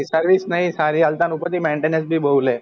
service નહિ સારી અલતા ઉપર થી maintenance નહી બહુ લે